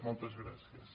moltes gràcies